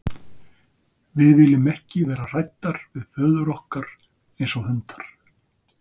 Við viljum ekki vera hræddar við föður okkar eins og hundar.